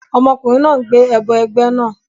Ọmọkùnrin náà ń gbé ẹbọ ẹgbẹ́ náà